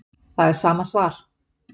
Það er sama svar